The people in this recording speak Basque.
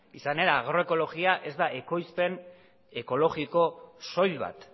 izan ere agroekologia ez da ekoizpen ekologiko soil bat